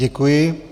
Děkuji.